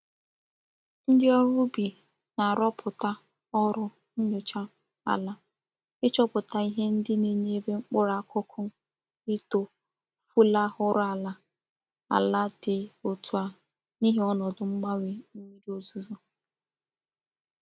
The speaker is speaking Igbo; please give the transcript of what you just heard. Ndi órú ubi na-aroputa órú nyocha ala ichoputa ihe ndi na-enyere mkpuru akuku ito fulahurula ala di otu a nihi onodu mgbanwe mmiri ozuzo.